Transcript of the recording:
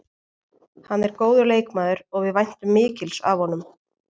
Hann er góður leikmaður og við væntum mikils af honum.